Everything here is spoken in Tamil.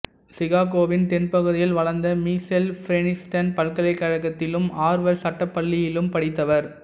சிகாகோவின் தென்பகுதியில் வளர்ந்த மிசெல் பிரின்ஸ்டன் பல்கலைக்கழகத்திலும் ஆர்வர்டு சட்டப்பள்ளியிலும் படித்தவர்